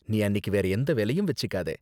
நீ அன்னிக்கு வேற எந்த வேலையும் வெச்சுக்காத.